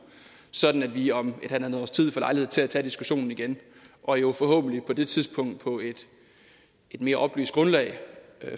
sådan at vi om halvandet års tid får lejlighed til at tage diskussionen igen og jo forhåbentlig på det tidspunkt på et mere oplyst grundlag